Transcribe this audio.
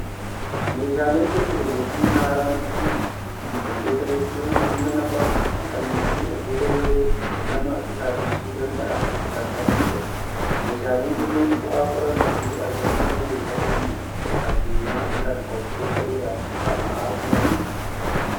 Meeshaaleen teekinooloojii haaraan dhufuun, waantota hedduu humna namaa fixanii fi waantota yeroo namaa qisaasessuu danda'an kan salphisedha. Meeshaaleen kunneen bu'aa qorannoo fi argannoo hayyoota keenya addunyaa kanaa waggoota dheeraaf dhama'aa turaniiti.